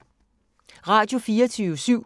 Radio24syv